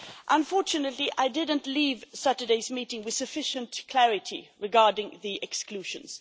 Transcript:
Unfortunately, I did not leave Saturday's meeting with sufficient clarity regarding the exclusions.